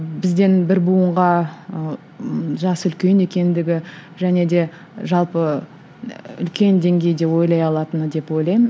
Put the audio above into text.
бізден бір буынға ыыы жасы үлкен екендігі және де жалпы үлкен деңгейде ойлай алатыны деп ойлаймын